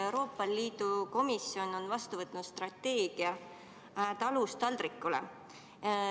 Euroopa Komisjon on vastu võtnud strateegia "Talust taldrikule".